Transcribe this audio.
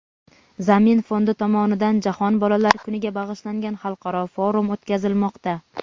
"Zamin" fondi tomonidan Jahon bolalar kuniga bag‘ishlangan xalqaro forum o‘tkazilmoqda.